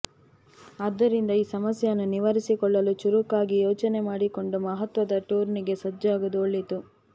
ಆದ್ದರಿಂದ ಈ ಸಮಸ್ಯೆಯನ್ನು ನಿವಾರಿಸಿಕೊಳ್ಳಲು ಚುರುಕಾಗಿ ಯೋಚನೆ ಮಾಡಿಕೊಂಡು ಮಹತ್ವದ ಟೂರ್ನಿಗೆ ಸಜ್ಜಾಗುವುದು ಒಳಿತು